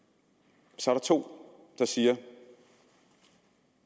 så er der to der siger at